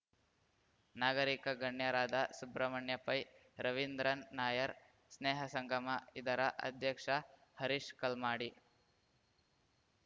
ನಾಗರೀಕ ಗಣ್ಯರಾದ ಸುಬ್ರಮಣ್ಯ ಪೈ ರವೀಂದ್ರನ್ ನಾಯರ್ ಸ್ನೇಹಸಂಗಮ ಇದರ ಅಧ್ಯಕ್ಷ ಹರೀಶ್ ಕಲ್ಮಾಡಿ